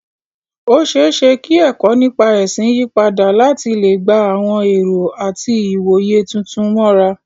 Ó ṣeé ṣe kí ẹ̀kọ́ nípa ẹ̀sìn yí padà láti lè gba àwọn ẹ̀rọ àti ìwòye tuntun mọ́ra.